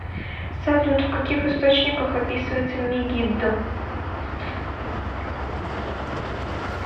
салют в каких источниках описывается мегиддо